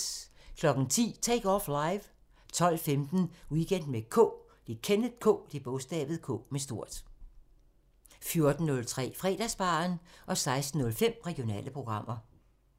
10:03: Take Off Live 12:15: Weekend med K 14:03: Fredagsbaren 16:05: Regionale programmer